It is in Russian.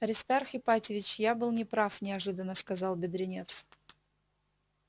аристарх ипатьевич я был не прав неожиданно сказал бедренец